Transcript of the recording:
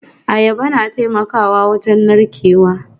Ayaba na taimakawa wajen narkewa